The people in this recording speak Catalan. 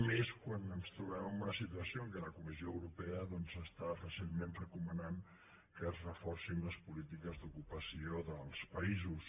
i més quan ens trobem en una situació en què la comissió europea doncs està recentment recomanant que es reforcin les polítiques d’ocupació dels països